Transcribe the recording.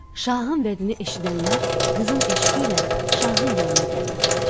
Şahın vədini eşidənlər qızın eşqi ilə şahın yanına gəlirdilər.